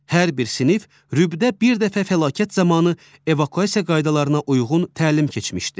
Hər bir sinif rübdə bir dəfə fəlakət zamanı evakuasiya qaydalarına uyğun təlim keçmişdi.